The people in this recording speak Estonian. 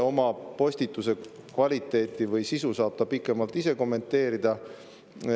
Oma postituse kvaliteeti või sisu saab ta ise pikemalt kommenteerida.